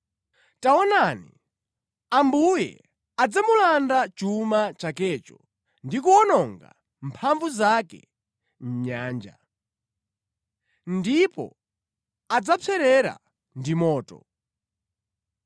Taonani Ambuye adzamulanda chuma chakecho ndi kuwononga mphamvu zake mʼnyanja, ndipo adzapserera ndi moto.